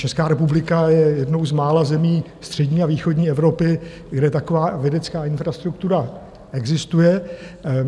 Česká republika je jednou z mála zemí střední a východní Evropy, kde taková vědecká infrastruktura existuje.